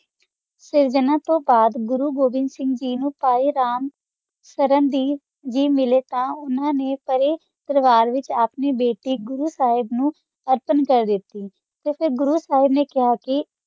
ਅਸ ਜਨਮ ਤੋ ਬਾਦ ਗੂਰੋ ਗ ਨਾ ਖਾ ਸੀ ਕਾ ਓਵੀ ਸਿੰਘ ਗੀ ਨੂ ਕਾ ਅਰੰ ਚਾਰਾਂ ਦੀ ਚ ਮਿਲਾ ਸ਼ਾ ਓਨਾ ਸਾਰਾ ਪਰਿਵਾਰ ਦਾ ਵਿਤਚ ਆਪਣੀ ਬੈਠੀ ਗੂਰੋ ਗੀ ਨੂ ਸੁਰਾਂ ਕਰ ਦਾਤੀ ਤਾ ਫਿਰ ਗੂਰੋ ਸਾਹਿਬ ਨਾ ਖਾ ਸੀ ਕਾ